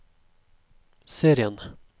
serien